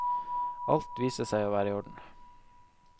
Alt viste seg å være i orden.